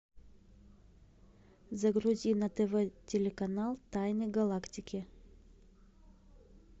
загрузи на тв телеканал тайны галактики